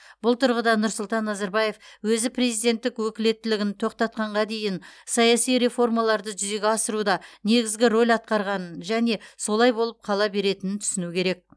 бұл тұрғыда нұрсұлтан назарбаев өзі президенттік өкілеттілігін тоқтатқанға дейін саяси реформаларды жүзеге асыруда негізгі рөл атқарғанын және солай болып қала беретінін түсіну керек